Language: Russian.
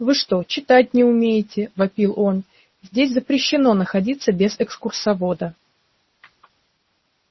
вы что читать не умеете вопил он здесь запрещено находиться без экскурсовода